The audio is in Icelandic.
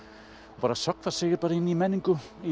bara sökkvir sér inn í menningu í